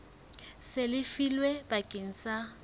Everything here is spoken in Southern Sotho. seng le lefilwe bakeng sa